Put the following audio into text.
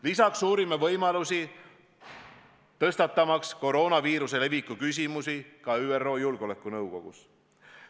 Lisaks uurime võimalusi, tõstatamaks koroonaviiruse leviku küsimusi ka ÜRO Julgeolekunõukogus.